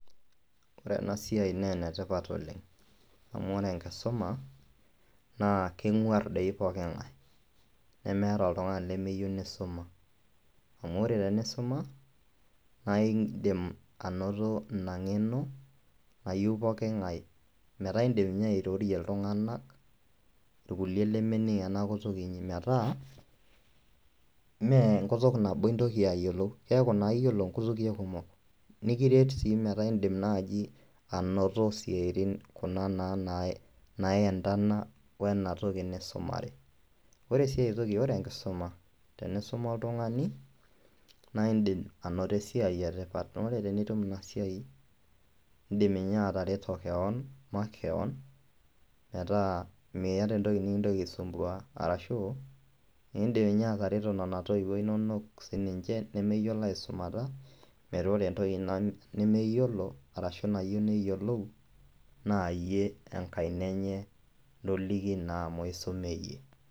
Ore ena siai nee ene tipat oleng' amu ore enkisuma naa keng'uar doi poki ng'ai nemeeta oltung'ani lemeyeu nisuma amu ore tenisuma nae indim anoto ina ng'eno nayeu poki ng'ai metaa iindim nye airorie iltung'anak irkuliek lemening' ena kutuk inyi metaa mee nkutuk nabo intoki ayiolou keeku naa iyiolo nkutuke kumok nikiret sii metaa iindim naaji anoto isiatin kuna naa naiendana wena toki nisumare. Ore sii ai toki ore enkisuma tenisuma oltung'ani naa iindim anoto esiai e tipat naa ore tenitum ina siai, iindim ninye atareto keon makeon metaa miiyata entoki nekintoki aisumbua arashu iindim ninye atareto nena toiwuo inonok sininje nemeyiolo aisumata metaa ore entoki nemeyiolo arashu nayiu neyiolou naa iyie enkaina enye loliki naa amu isume iyie.